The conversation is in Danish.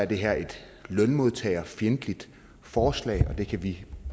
det her et lønmodtagerfjendtligt forslag og det kan vi